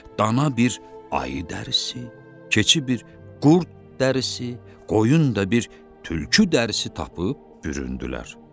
dana bir ayı dərisi, keçi bir qurd dərisi, qoyun da bir tülkü dərisi tapıb büründülər.